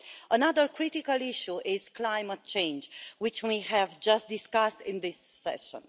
Another critical issue is climate change, which we have just discussed in this session.